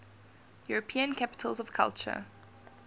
european capitals of culture